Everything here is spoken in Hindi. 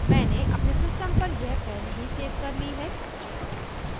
मैंने अपने सिस्टम पर यह पहले ही सेव कर ली है